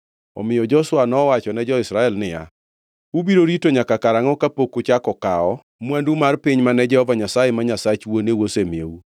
Omiyo Joshua nowachone jo-Israel niya, “Ubiro rito nyaka karangʼo kapok uchako kawo mwandu mar piny mane Jehova Nyasaye, ma Nyasach wuoneu, asemiyou?